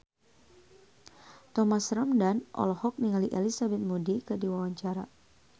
Thomas Ramdhan olohok ningali Elizabeth Moody keur diwawancara